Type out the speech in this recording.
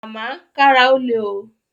Màmá, kára ó le o